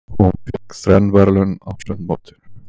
Hún fékk þrenn verðlaun á sundmótinu.